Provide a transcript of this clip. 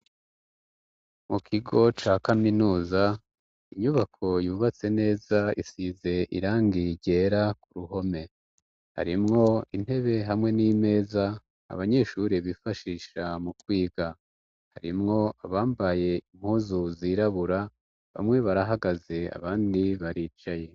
Mu kigo ca kaminuza inyubako yubatse neza isize irangi ryera ku ruhome harimwo intebe hamwe n'imeza abanyeshuri bifashisha mu kwiga harimwo abambaye impuzu zirabura bamwe barahagaze abandi baricaye.